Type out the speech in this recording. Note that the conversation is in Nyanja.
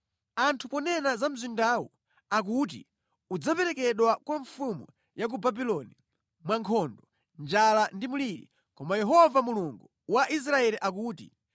“Anthu ponena za mzindawu akuti udzaperekedwa kwa mfumu ya ku Babuloni mwa nkhondo, njala ndi mliri, koma Yehova Mulungu wa Israeli akuti,